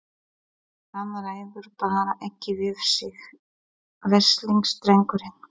Hann ræður bara ekki við sig, veslings drengurinn!